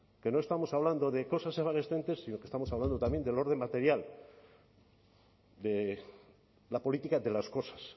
que no estamos hablando de cosas evanescentes sino que estamos hablando también del orden material de la política de las cosas